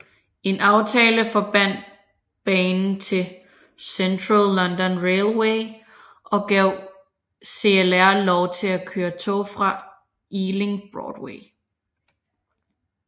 En aftale forbandt banen til Central London Railway og gav CLR lov til at køre tog til Ealing Broadway